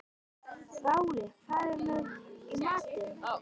Váli, hvað er í matinn?